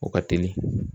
O ka teli